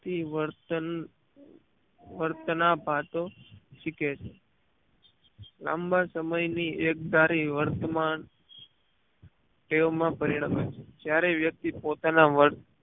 થી વર્તન વર્ત્નાભાતો શીખે છે લાંબા સમય ની એક ધરી વર્તમાન ટેવ માં પરિણમે છે જ્યારે વ્યક્તિ પોતાના વર્ત